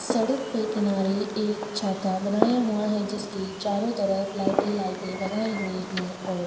सड़क पे किनारे एक छाता बनाया हुआ है जिसकि चारों तरफ लाइट ही लाइटे लगाई हुई है और --